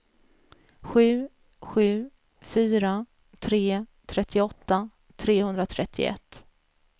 sju sju fyra tre trettioåtta trehundratrettioett